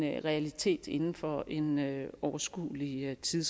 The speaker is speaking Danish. en realitet inden for en overskuelig tid